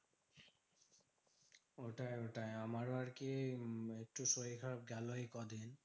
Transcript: ওটাই ওটাই আমারও আরকি উম একটু শরীর খারাপ গেলো এই কদিন।